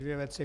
Dvě věci.